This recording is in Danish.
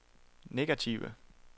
negative